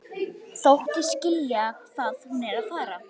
Þóttist skilja hvað hún var að fara.